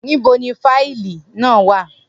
Nibo ni fáìlì naa wa?